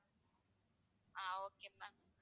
ah okay ma'am